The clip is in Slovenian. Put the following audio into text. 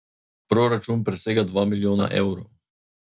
Proračun presega dva milijona evrov.